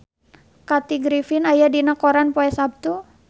Kathy Griffin aya dina koran poe Saptu